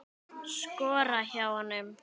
Skora hjá honum??